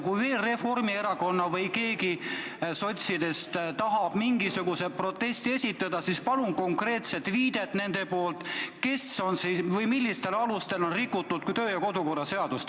Kui veel keegi Reformierakonnast või sotsidest tahab mingisuguse protesti esitada, siis palun nendelt konkreetset viidet, millistel alustel on rikutud kodu- ja töökorra seadust.